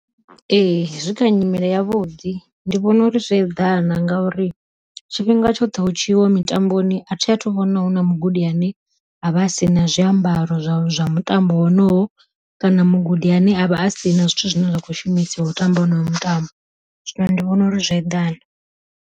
Ee zwi kha nyimele yavhuḓi ndi vhona uri zwo eḓana, ngauri tshifhinga tshoṱhe hu tshi yiwa mitamboni athi athu vhona huna mugudi ane avha a si na zwiambaro zwa zwa mutambo wonoyo, kana mugudi ane avha a si na zwithu zwine zwa kho shumisiwa u tamba honowo mutambo zwino ndi vhona uri zwo eḓana.